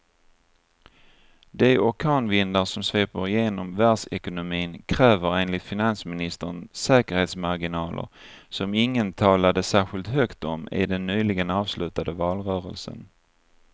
De orkanvindar som sveper genom världsekonomin kräver enligt finansministern säkerhetsmarginaler som ingen talade särskilt högt om i den nyligen avslutade valrörelsen.